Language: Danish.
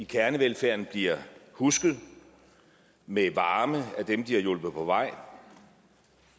kernevelfærden bliver husket med varme af dem de har hjulpet på vej